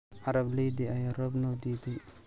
Arablayti aya roob nodiide.